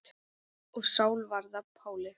Og Sál varð að Páli.